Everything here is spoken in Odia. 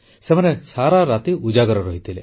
ସେମାନେ ସାରା ରାତି ଉଜାଗର ରହିଥିଲେ